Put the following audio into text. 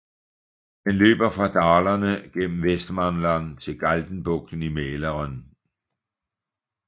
Den løber fra Dalarna gennem Västmanland til Galtenbugten i Mälaren